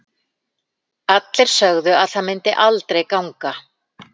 Allir sögðu að það myndi aldrei ganga.